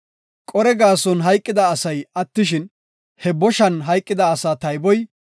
Qore gaason hayqida asay attishin, he boshan hayqida asaa tayboy 14,700.